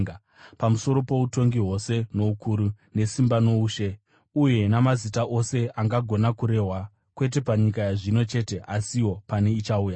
pamusoro poutongi hwose noukuru, nesimba noushe, uye namazita ose angagona kurehwa, kwete panyika yazvino chete asiwo pane ichauya.